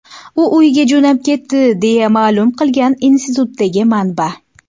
U uyiga jo‘nab ketdi”, deya ma’lum qilgan institutdagi manba.